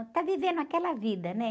Está vivendo aquela vida, né?